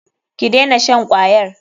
Ki dena shan kwayar.